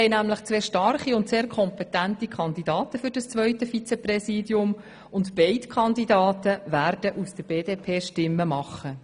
Wir haben nämlich zwei sehr starke und kompetente Kandidaten für dieses zweite Vizepräsidium, und beide Kandidaten werden Stimmen aus der BDP-Fraktion erhalten.